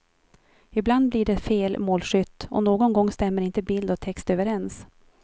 Ibland blir det fel målskytt och någon gång stämmer inte bild och text överens.